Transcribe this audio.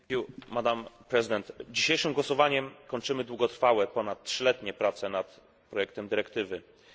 Dzisiejszym głosowaniem kończymy długotrwałe, ponad trzyletnie prace nad projektem dyrektywy o prawach konsumentów.